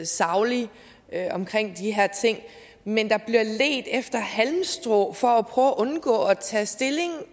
saglig omkring de her ting men der bliver ledt efter halmstrå for at prøve at undgå at tage stilling